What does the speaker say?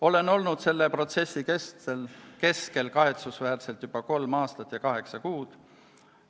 Olen olnud selle protsessi keskel kahetsusväärselt juba kolm aastat ja kaheksa kuud.